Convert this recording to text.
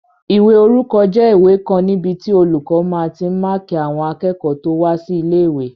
Ìwé orúkọ jẹ́ ìwé kan níbi tí olùkọ́ máa tí n máàkí àwọn akẹ́kọ̀ọ́ tó wá sí ilé-ìwé